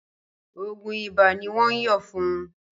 Ògùn ibà ní wọn yóò fún un